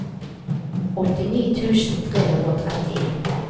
åttini tusen tre hundre og trettien